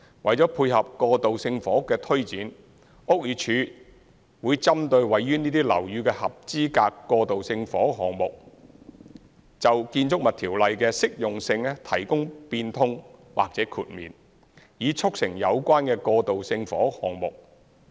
為配合過渡性房屋的推展，屋宇署會針對位於這些樓宇的合資格過渡性房屋項目，就《建築物條例》的適用性提供變通或豁免，以促成有關的過渡性房屋項目。